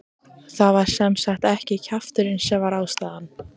Það var sem sagt ekki kjafturinn sem var ástæðan.